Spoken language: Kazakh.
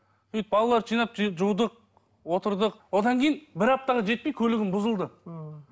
балаларды жинап жудық отырдық одан кейін бір аптаға жетпей көлігім бұзылды ммм